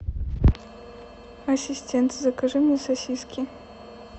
ассистент закажи мне сосиски